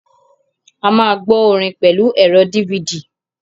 A máa gbọ́ orin pẹ̀lú ẹ̀rọ DVD.